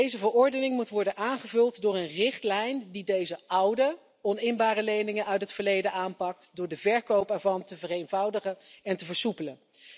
Deze verordening moet worden aangevuld door een richtlijn die deze oude oninbare leningen uit het verleden aanpakt door de verkoop ervan te vereenvoudigen en te versoepelen.